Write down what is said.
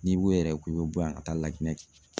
N'i ko yɛrɛ ko i bɛ bɔ yan ka taa Laginɛ